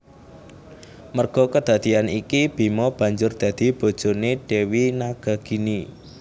Merga kedadeyan iki Bima banjur dadi bojone Dewi Nagagini